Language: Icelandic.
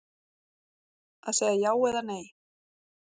Að segja já eða segja nei